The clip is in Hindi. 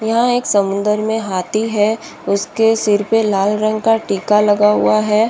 यह एक समुद्र में हाथी है उसके सिर पे लाल रंग का टीका लगा हुआ है।